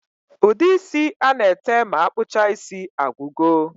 Ude isi ana ete ma akpụcha isi agwụgo